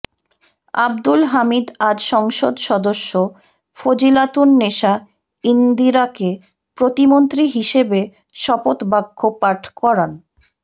আবদুল হামিদ আজ সংসদ সদস্য ফজিলাতুন নেসা ইন্দিরাকে প্রতিমন্ত্রী হিসেবে শপথ বাক্য পাঠ করান